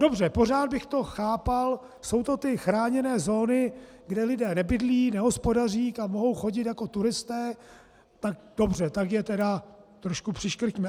Dobře, pořád bych to chápal, jsou to ty chráněné zóny, kde lidé nebydlí, nehospodaří, tam mohou chodit jako turisté, tak dobře, tak je tedy trošku přiškrťme.